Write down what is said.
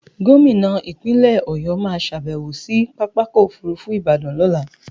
Gómìnà Ìpínlẹ̀ Ọ̀yọ́ máa ṣàbẹ̀wó sí Pápákọ̀ Òfurufú Ìbàdàn lọ́la.